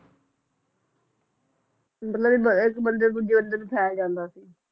ਮਤਲਬ ਇਕ ਬੰਦੇ ਤੋਂ ਦੂਜੇ ਬੰਦੇ ਨੂੰ ਫੈਲ ਜਾਂਦਾ ਸੀ